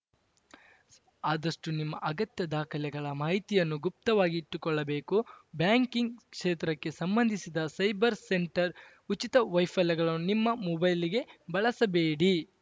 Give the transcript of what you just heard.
ಆದಷ್ಟುನಿಮ್ಮ ಅಗತ್ಯ ದಾಖಲೆಗಳ ಮಾಹಿತಿಯನ್ನು ಗುಪ್ತವಾಗಿಟ್ಟುಕೊಳ್ಳಬೇಕು ಬ್ಯಾಂಕಿಂಗ್‌ ಕ್ಷೇತ್ರಕ್ಕೆ ಸಂಬಂಧಿಸಿದ ಸೈಬರ್‌ ಸೆಂಟರ್‌ ಉಚಿತ ವೈಫೈಲ್ ಳನ್ನು ನಿಮ್ಮ ಮೊಬೈಲ್‌ಗೆ ಬಳಸಬೇಡಿ